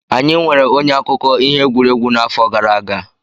Anyị nweere onye akụkọ ihe egwuregwu n'afọ gara aga.